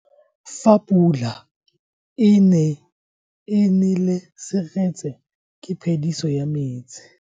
Fa pula e nele seretse ke phediso ya metsi.